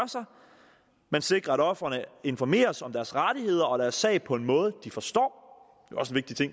man sikrer at ofrene informeres om deres rettigheder og deres sag på en måde de forstår